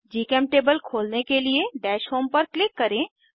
जीचेमटेबल खोलने के लिए दश होम पर क्लिक करें